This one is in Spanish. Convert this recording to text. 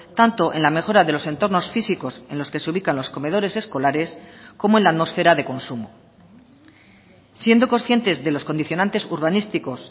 tanto en la mejora de los entornos físicos en los que se ubican los comedores escolares como en la atmosfera de consumo siendo conscientes de los condicionantes urbanísticos